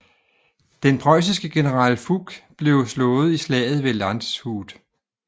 Den preussiske general Fouque blev slået i slaget ved Landshut